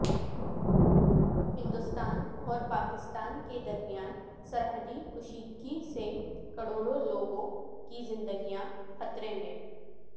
ہندوستان اور پاکستان کے درمیان سرحدی کشیدگی سے کروڑں لوگوں کی زندگیاں خطرے میں